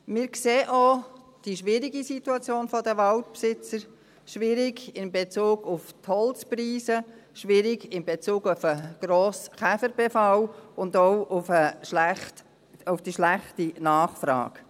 Wir sehen auch die schwierige Situation der Waldbesitzer, schwierig in Bezug auf die Holzpreise, schwierig in Bezug auf den grossen Käferbefall und auch auf die schlechte Nachfrage.